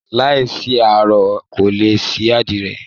Láìsí aró, kò lè sí àdìrẹ